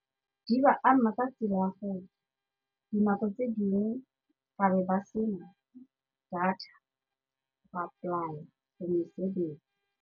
Di ba ama ka tsela ya gore dinako tse dingwe ba be ba sena data go apply-a for mesebetsi.